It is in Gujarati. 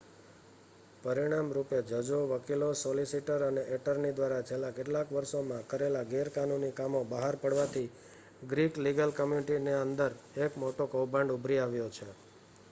પરિણામ રૂપે જજો વકીલો સોલિસિટર અને એટર્ની દ્વારા છેલ્લા કેટલાક વર્ષોમાં કરેલા ગેરકાનૂની કામો બહાર પડવાથી ગ્રીક લીગલ કમ્યુનિટીના અંદર એક મોટો કૌભાંડ ઉભરી આવ્યો છે